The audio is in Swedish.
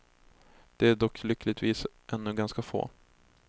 De är dock lyckligtvis ännu ganska få.